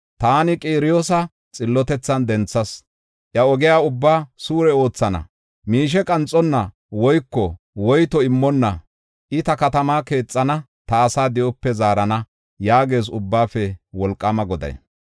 Taani Qiroosa xillotethan denthas; iya ogiya ubbaa suure oothana. Miishe qanxonna woyko woyto immonna I ta katamaa keexana; ta asaa di7ope zaarana” yaagees ubbaafe Wolqaama Goday.